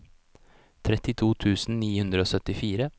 trettito tusen ni hundre og syttifire